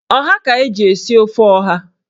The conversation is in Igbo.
Ọha ka eji esi ofe ọha.